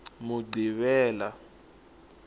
muqhivela